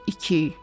12.